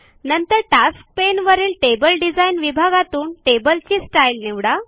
नंतर tasks pane वरील table design या विभागातून टेबलची स्टाईल निवडा